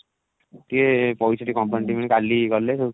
ସେ ପଇସା ଟିକେ complain ଦେବି କାଲି ଗଲେ